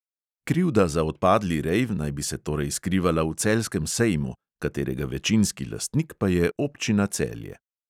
Krivda za odpadli rejv naj bi se torej skrivala v celjskem sejmu, katerega večinski lastnik pa je občina celje.